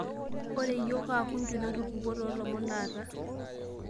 ore iyiok kaakunju natupukuo toolomon taata